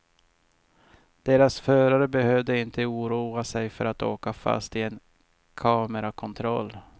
Deras förare behöver inte oroa sig för att åka fast i en kamerakontroll.